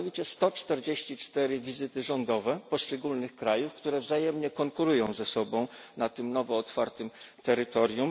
144 wizyty rządowe z poszczególnych krajów, które wzajemnie konkurują ze sobą na tym nowo otwartym terytorium.